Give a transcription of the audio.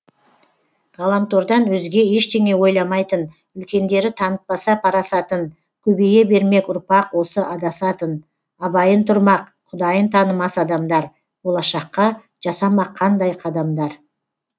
ғаламтордан өзге ештеңе ойламайтын үлкендері танытпаса парасатын көбейе бермек ұрпақ осы адасатын абайын тұрмақ құдайын танымас адамдар болашаққа жасамақ қандай қадамдар